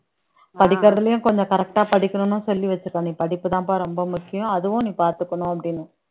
படிக்கிறதுலயும் கொஞ்சம் correct ஆ படிக்கணும்ன்னு சொல்லி வச்சிருக் நீ படிப்புதான்ப்பா ரொம்ப முக்கியம் அதுவும் நீ பாத்துக்கணும் அப்படின்னு